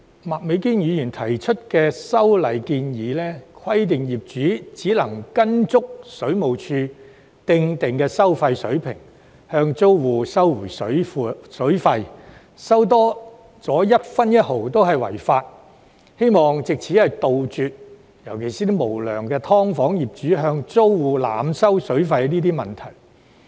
麥美娟議員提出的修例建議，目的是規定業主只能按水務署訂定的收費水平向租戶收回水費，多收一分一毫均屬違法，希望藉此杜絕無良"劏房"業主向租戶濫收水費的問題。